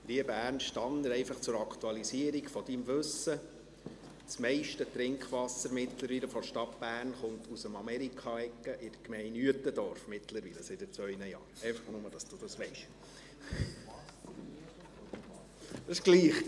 Lieber Ernst Tanner, einfach zur Aktualisierung deines Wissens: Das meiste Trinkwasser der Stadt Bern kommt mittlerweile – seit zwei Jahren – aus dem «Amerika-Egge» in der Gemeinde Uetendorf – nur, damit du dies weisst.